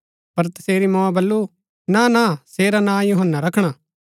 पर तसेरी मोऐ बल्लू नाना सेरा नां यूहन्‍ना रखणा